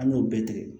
An y'o bɛɛ tigɛ